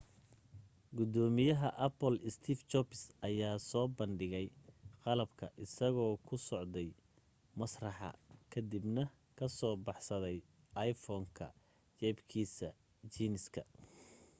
gudoomiyaha apple steve jobs ayaa soo bandhigay qalabka isagoo ku socday masraxa ka dibna ka soo baxsaday iphone-ka jeebkiisa jiiniska